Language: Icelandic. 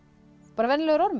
bara venjulegur ormur